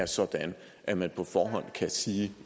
sådan at man på forhånd kan sige